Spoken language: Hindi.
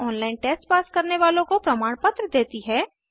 ऑनलाइन टेस्ट पास करने वालों को प्रमाणपत्र देती है